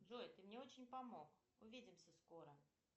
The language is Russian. джой ты мне очень помог увидимся скоро